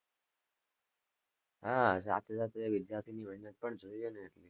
હા સાથે સાથે વિદ્યાર્થી ની મહેનત પણ જોઈએ ને,